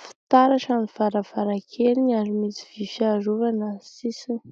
,fitaratra ny varavarakeliny ary misy vy fiarovana sisiny